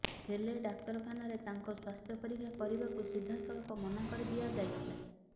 ହେଲେ ଡାକ୍ତରଖାନାରେ ତାଙ୍କ ସ୍ୱାସ୍ଥ୍ୟ ପରୀକ୍ଷା କରିବାକୁ ସିଧାସଳଖ ମନା କରିଦିଆ ଯାଇଥିଲା